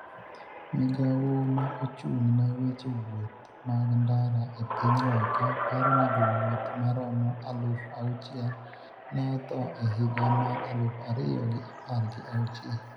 migawo ma ochung' ne weche wuoth mag ndara e piny Loka paro ni jowuoth maromo aluf auchiel ne otho e higa mar aluf ariyo gi apar gi auchiel